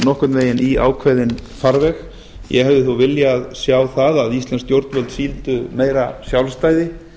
nokkurn veginn í ákveðinn farveg ég hefði þó viljað sjá það að íslensk stjórnvöld sýndu meira sjálfstæði